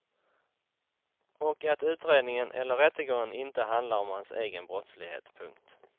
Och att utredningen eller rättegången inte handlar om hans egen brottslighet. punkt